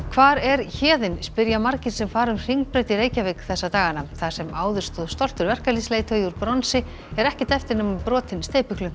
hvar er Héðinn spyrja margir sem fara um Hringbraut í Reykjavík þessa dagana þar sem áður stóð stoltur verkalýðsleiðtogi úr bronsi er ekkert eftir nema brotinn